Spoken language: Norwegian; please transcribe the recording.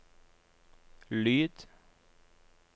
lyd